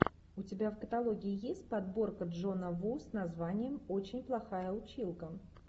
у тебя в каталоге есть подборка джона ву с названием очень плохая училка